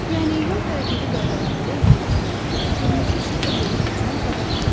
Yəni yol hərəkəti qaydalarında olduğu kimi, qırmızı işıqda yolu keçmək qadağandır.